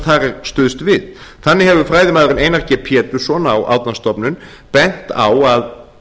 þar er stuðst við þannig hefur fræðimaðurinn einar g pétursson á árnastofnun bent á